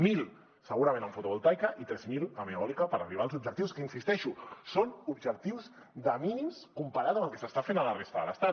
mil segurament en fotovoltaica i tres mil en eòlica per arribar als objectius que hi insisteixo són objectius de mínims comparats amb el que s’està fent a la resta de l’estat